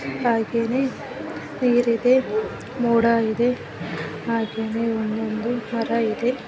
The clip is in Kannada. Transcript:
ಹಾಗೆ ನೀರಿದೆ ಮೋಡ ಇದೆ ಹಾಗೇನೆ ಒಂದೊಂದು ಮರ ಇದೆ .